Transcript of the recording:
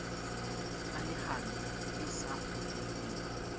ba lehano e sa kgoneheng